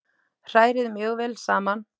Hrærið mjög vel saman.